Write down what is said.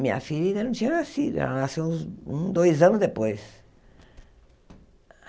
Minha filha ainda não tinha nascido, ela nasceu uns um dois anos depois.